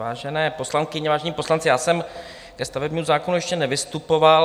Vážené poslankyně, vážení poslanci, já jsem ke stavebnímu zákonu ještě nevystupoval.